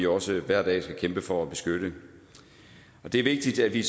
også hver dag kæmpe for at beskytte det er vigtigt at vi